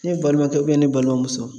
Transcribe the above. Ne balimakɛ ubiyɛn ne balimamuso